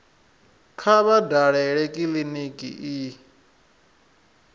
kha vha dalele kiliniki i